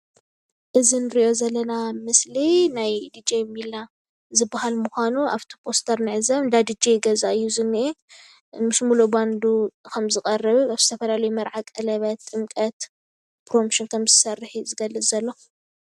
እዚ እንሪኦ ዘለና ምስሊ ናይ ድጄ ሚላ ዝባሃል ምኳኑ ኣብቲ ፖስተር እንዕዘብ፡፡ እንዳ ድጄ ገዛ እዩ ዝኒኤ፡፡ ምስ ምሉእ ባንዲ ከም ዝቀርብ ዝተፈላለዩ መርዓ ፣ቀለቤት፣ ጥምቀት ፕሮሞሽን ከም ዝሰርሕ እዩ ዝገልፅ ዘሎ፡፡